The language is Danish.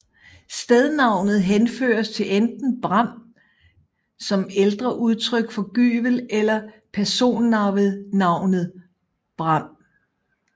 Stednavnet henføres til enten bram som ældre udtryk for gyvel eller personnavnet Bram